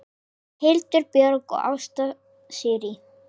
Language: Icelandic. Hildur Björg og Ásta Sirrí.